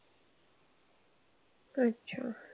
अच्छा.